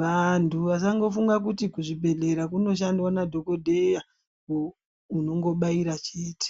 vantu vasango funga kuti ku zvibhedhlera kuno shandwa na dhokodheya unongo baira chete.